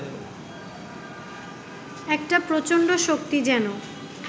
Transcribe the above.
একটা প্রচণ্ড শক্তি যেন